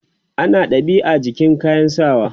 ana dab'i a jikin kayan sawa